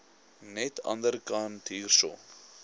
net anderkant hierso